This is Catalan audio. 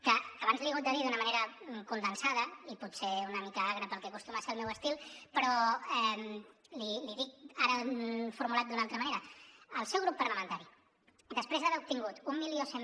que abans li he hagut de dir d’una manera condensada i potser una mica agra pel que acostuma a ser el meu estil però l’hi dic ara formulat d’una altra manera el seu grup parlamentari després d’haver obtingut mil cent